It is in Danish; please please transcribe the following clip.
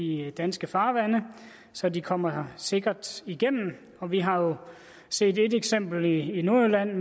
i danske farvande så de kommer sikkert igennem dem vi har set et eksempel i nordjylland